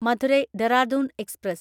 Madurai Dehradun express